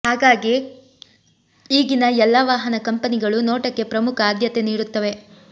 ಹಾಗಾಗೇ ಈಗಿನ ಎಲ್ಲ ವಾಹನ ಕಂಪೆನಿಗಳು ನೋಟಕ್ಕೆ ಪ್ರಮುಖ ಆದ್ಯತೆ ನೀಡುತ್ತವೆ